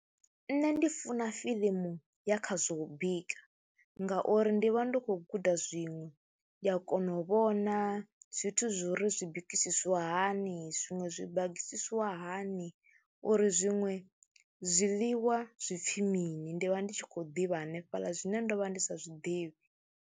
Nṋe ndi funa fiḽimu ya kha zwo u bika ngauri ndi vha ndi khou guda zwiṅwe, ndi a kona u vhona zwithu zwo ri zwi bikisiwa hani, zwiṅwe zwi bagisisiwa hani uri zwiṅwe zwiḽiwa zwi pfhi mini. Ndi vha ndi tshi khou ḓivha hanefhaḽa zwine ndo vha ndi sa zwi ḓivhi.